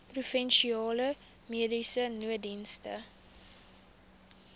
provinsiale mediese nooddienste